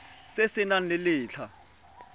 se se nang le letlha